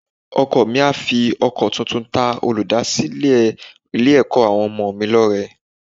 Ọkọ mi á fi ọkọ tuntun ta olùdásílẹ̀ Ilé-ẹ̀kọ́ àwọn ọmọ mi lọ́rẹ